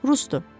Rusdur.